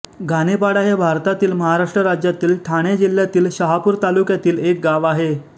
घाणेपाडा हे भारतातील महाराष्ट्र राज्यातील ठाणे जिल्ह्यातील शहापूर तालुक्यातील एक गाव आहे